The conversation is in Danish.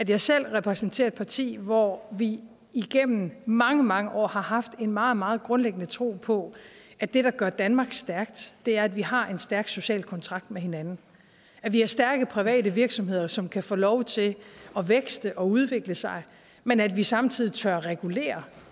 jeg selv repræsenterer et parti hvor vi gennem mange mange år har haft en meget meget grundlæggende tro på at det der gør danmark stærkt er at vi har en stærk social kontrakt med hinanden at vi har stærke private virksomheder som kan få lov til at vækste og udvikle sig men at vi samtidig tør regulere